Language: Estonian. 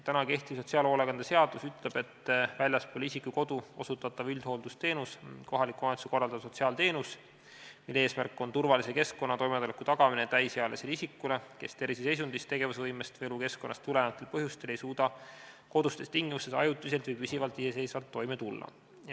Kehtiv sotsiaalhoolekande seadus ütleb: "Väljaspool isiku kodu osutatav üldhooldusteenus on kohaliku omavalitsuse üksuse korraldatav sotsiaalteenus, mille eesmärk on turvalise keskkonna ja toimetuleku tagamine täisealisele isikule, kes terviseseisundist, tegevusvõimest või elukeskkonnast tulenevatel põhjustel ei suuda kodustes tingimustes ajutiselt või püsivalt iseseisvalt toime tulla.